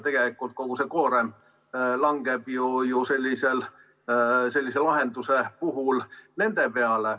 Tegelikult kogu see koorem langeb ju sellise lahenduse puhul nende peale.